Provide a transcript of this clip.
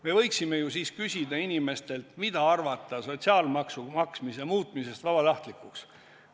Me võiksime ju siis küsida inimestelt, mida arvata sotsiaalmaksu maksmise muutmisest vabatahtlikuks.